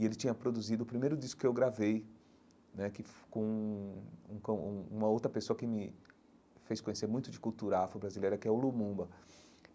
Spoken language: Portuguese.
E ele tinha produzido o primeiro disco que eu gravei né que foi com com um uma outra pessoa que me fez conhecer muito de cultura afro-brasileira, que é o Lumumba.